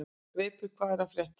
Greipur, hvað er að frétta?